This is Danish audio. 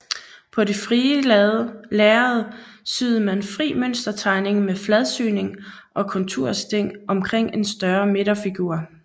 På det frie lærred syede man fri mønstertegning med fladsyning og kontursting omkring en større midterfigur